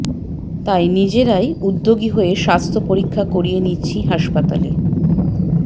তাই নিজেরাই উদ্যোগী হয়ে স্বাস্থ্য পরীক্ষা করিয়ে নিচ্ছি হাসপাতালে